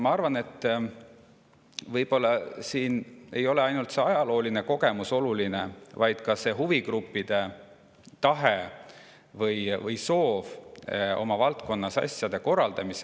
Ma arvan, et ehk siin ei ole ainult see ajalooline kogemus oluline, vaid ka huvigruppide tahe või soov oma valdkonnas asju korraldada.